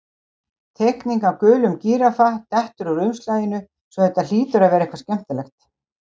Teikning af gulum gíraffa dettur úr umslaginu svo þetta hlýtur að vera eitthvað skemmtilegt.